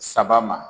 Saba ma